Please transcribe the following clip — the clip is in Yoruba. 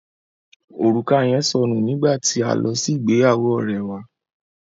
Orùka yẹn sọ nù nígbà tí a lọ sí ìgbéyàwó ọ̀rẹ́ wà.